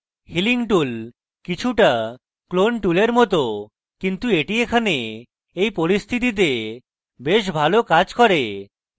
healing tool কিছুটা clone টুলের মত কিন্তু এটি এখানে এই পরিস্থিতিতে বেশী ভালো case করে